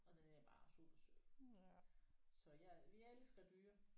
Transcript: Og den er bare super sød så ja vi elsker dyr